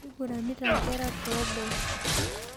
Keiguranita nkera tooboo